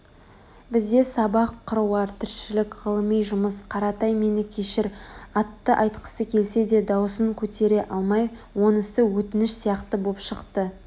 бізде сабақ қыруар тіршілік ғылыми жұмыс Қаратай мені кешір атты айтқысы келсе де даусын көтере алмай онысы өтініш сияқты боп шықты